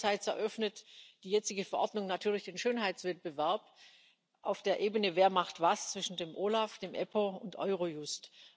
Aber anderseits eröffnet die jetzige Verordnung natürlich den Schönheitswettbewerb auf der Ebene wer macht was zwischen dem OLAF, dem EPPO und Eurojust.